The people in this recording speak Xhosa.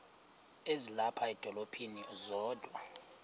ezilapha edolophini kodwa